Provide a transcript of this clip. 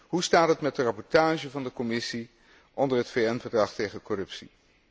Hoe staat het met de rapportage van de Commissie onder het VN Verdrag tegen corruptie?